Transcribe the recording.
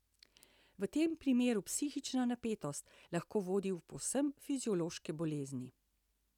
V tem primeru psihična napetost lahko vodi v povsem fiziološke bolezni.